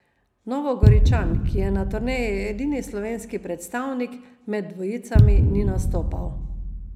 Novogoričan, ki je na turneji edini slovenski predstavnik, med dvojicami ni nastopal.